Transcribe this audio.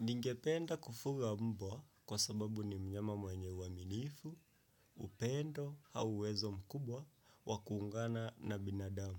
Ningependa kufuga mbwa kwa sababu ni mnyama mwenye uaminifu, upendo, au uwezo mkubwa, wa kuungana na binadamu.